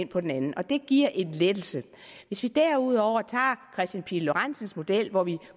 på den anden og det giver en lettelse hvis vi derudover tager kristian pihl lorentzens model hvor vi